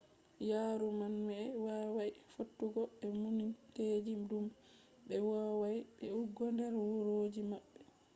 yaaruma'en wawai fottugo be muminteeji dum je be vowai yi'ugo der wuroji maɓɓe